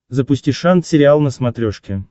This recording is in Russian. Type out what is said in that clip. запусти шант сериал на смотрешке